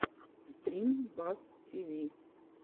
стрим бас тиви